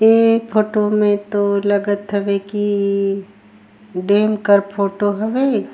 ए अ फोटो में तो लागत हवे की अ अ डेम कर फोटो हवे।